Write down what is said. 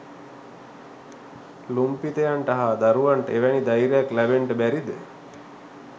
ලුම්පිතයන්ට හා දරුවන්ට එවැනි ධෛර්යයක් ලැබෙන්ට බැරි ද?